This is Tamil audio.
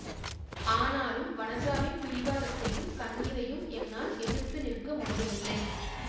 ஆனாலும் வனஜாவின் பிடிவாதத்தையும் கண்ணீரையும் என்னால் எதிர்த்து நிற்க முடியவில்லை